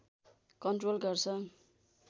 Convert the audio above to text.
control गर्छ